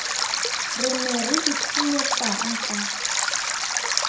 re ne re itshwenyetsang ka